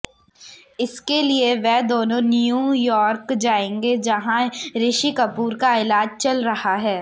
इसके लिए वे दोनों न्यू यॉर्क जाएंगे जहां ऋषि कपूर का इलाज चल रहा है